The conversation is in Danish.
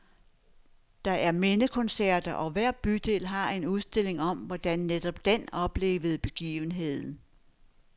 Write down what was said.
Der er mindekoncerter, og hver bydel har en udstilling om, hvordan netop den oplevede begivenheden.